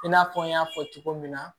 I n'a fɔ n y'a fɔ cogo min na